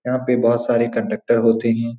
यहाँ पे बोहोत सारे कंडक्टर होते हैं।